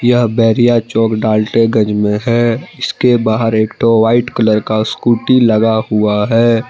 यह बरिया चौक ढालतेगंज में है इसे बाहर एक ठो वाइट कलर का स्कूटी लगा हुआ है।